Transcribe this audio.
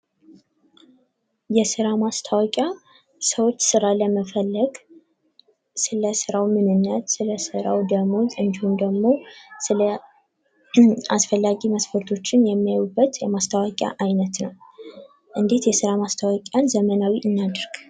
የስራ ማስታወቂያ ሰዎች ስራ ለመፈለግ ስለ ስራዉ ምንነት ስለ ስራዉ ደሞዝ እንዲሁም ደግሞ ስለ አስፈላጊ መስፈርቶችን የሚያዩበት የማስታወቂያ አይነት ነዉ። እንዴት የስራ ማስታወቂያን ዘመናዊ እናድርግ?